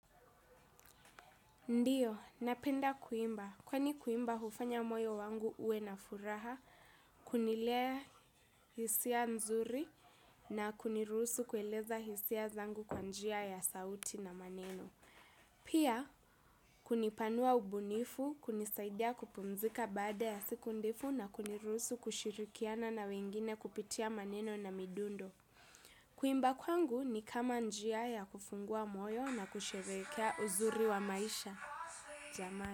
Ndio, napenda kuimba. Kwani kuimba hufanya moyo wangu uwe na furaha, kunilea hisia nzuri na kunirusu kueleza hisia zangu kwa njia ya sauti na maneno. Pia, kunipanua ubunifu, kunisaidia kupumzika baada ya siku ndefu na kunirusu kushirikiana na wengine kupitia maneno na midundo. Kuimba kwangu ni kama njia ya kufungua moyo na kusherehekea uzuri wa maisha.